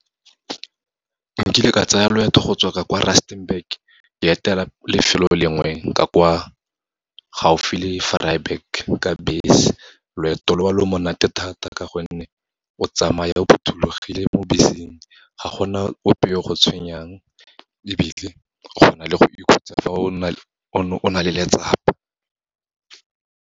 Nkile ka tsaya loeto go tswa ka kwa Rustenburg, ke etela lefelo lengwe , gaufi le Vryburg ka bese. Loeto lo, lo monate thata ka gonne o tsamaya o phothulogile mo beseng, ga gona ope yo go tshwenyang, ebile go na le go ikhutsa fa o ne o na le letsapa.